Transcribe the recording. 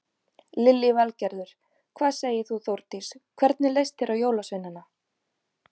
Lillý Valgerður: Hvað segir þú Þórdís, hvernig leist þér á jólasveinana?